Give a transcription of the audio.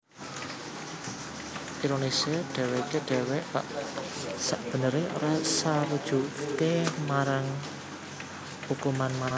Ironisé dhèwèké dhéwé sakbeneré ora sarujuk marang ukuman mati